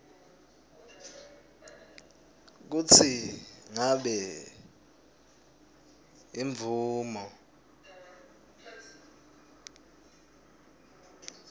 kutsi ngabe imvumo